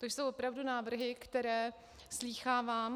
To jsou opravdu návrhy, které slýchávám.